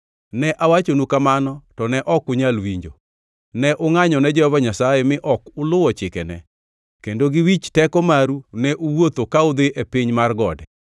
Ne awachonu kamano to ne ok unyal winjo. Ne ungʼanyo ne Jehova Nyasaye mi ok uluwo chikene, kendo gi wich teko maru ne uwuotho ka udhi e piny mar gode.